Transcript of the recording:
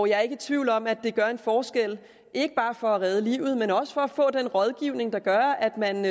jeg er ikke i tvivl om at det gør en forskel ikke bare for at redde livet men også for at få den rådgivning der gør at man